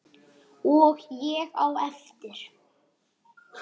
Og ég á eftir.